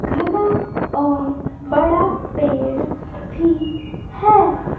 घना और बड़ा पेड़ भी है।